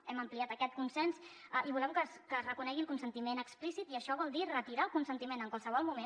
hem ampliat aquest consens i volem que es reconegui el consentiment explícit i això vol dir retirar el consentiment en qualsevol moment